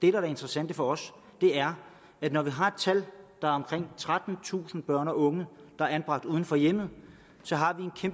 er det interessante for os er at når vi har et tal på omkring trettentusind børn og unge der er anbragt uden for hjemmet